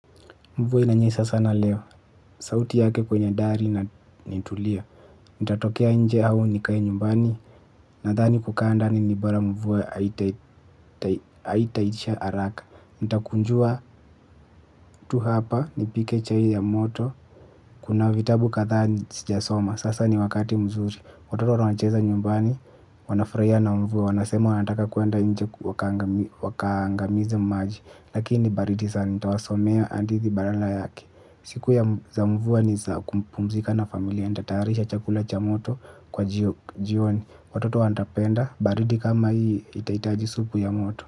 Mvua inanyesha sana leo. Sauti yake kwenye dari ni tulia. Itatokea nje au nikae nyumbani. Nadhani kukaa ndani ni bora mvua haitaitisha haraka. Itakunjua tu hapa nipike chai ya moto. Kuna vitabu kadhaa sijasoma. Sasa ni wakati mzuri. Watoto wanacheza nyumbani. Wanafurahia na mvuwe. Wanasema wanataka kwenda nje wakaangamize maji. Lakini ni baridi sana. Nitawasomea hadithi badala yake. Siku ya za mvua ni za kumpumzika na familia, nitatayarisha chakula cha moto kwa jioni, watoto watapenda, baridi kama hii, itaitaji supu ya moto.